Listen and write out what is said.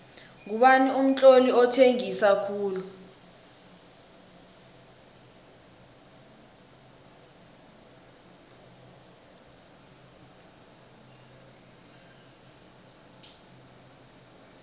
ngubani umtloli othengisa khulu